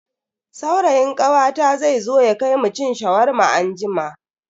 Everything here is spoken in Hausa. Saurayin kawata zai zo ya kai mu cin Shawarma anjima.